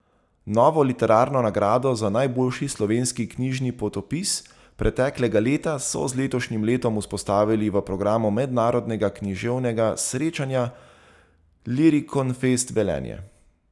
Novo literarno nagrado za najboljši slovenski knjižni potopis preteklega leta so z letošnjim letom vzpostavili v programu mednarodnega književnega srečanja Lirikonfest Velenje.